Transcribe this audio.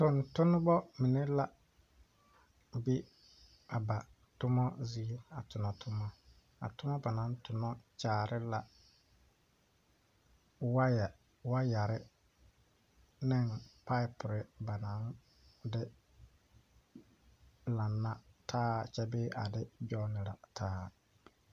Tontonnema mine la ba be la a ba tomma zie a tomma ba naŋ tonɔ kyaare la waaya waayarre neŋ paapurre ba naŋ de laŋna taa kyɛ de a de gyɔnnirɛ taa.